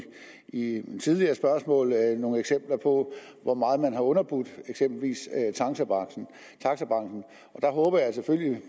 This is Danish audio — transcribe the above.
i et tidligere spørgsmål nogle eksempler på hvor meget man eksempelvis har underbudt taxabranchen der håber jeg selvfølgelig